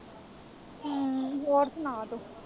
ਹਮ ਹੋਰ ਸੁਣਾ ਤੂੰ।